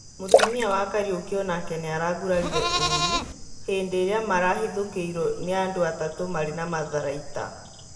Mũtumia wa Kariuki onake nĩaragurarire ũrũ hĩndĩ ĩrĩa marahithũkĩirwo nĩ andũ atatũ marĩ na matharaita